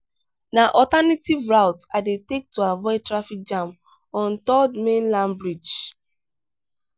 na alternative routes i dey take to avoid traffic jam on third mainland bridge.